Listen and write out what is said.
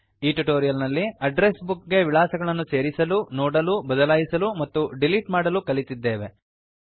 ಈ ಟ್ಯುಟೋರಿಯಲ್ ನಲ್ಲಿ address book ಗೆ ವಿಳಾಸಗಳನ್ನು ಸೇರಿಸಲು ನೋಡಲು ಬದಲಾಯಿಸಲು ಮತ್ತು ಡಿಲೀಟ್ ಮಾಡಲು ಕಲಿಯಲಿತಿದ್ದೇವೆ